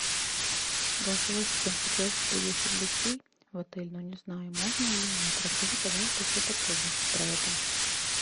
голосовой ассистент хотелось бы пригласить гостей в отель но не знаю можно или нет расскажи пожалуйста все подробности про это